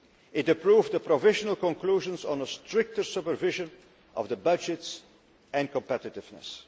It approved the provisional conclusions and the stricter supervision of the budgets and competitiveness.